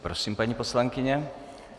Prosím, paní poslankyně.